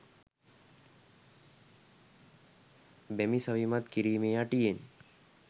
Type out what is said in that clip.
බැමි සවිමත් කිරීමේ අටියෙන්